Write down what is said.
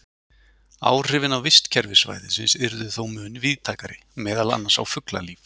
Áhrifin á vistkerfi svæðisins yrðu þó mun víðtækari, meðal annars á fuglalíf.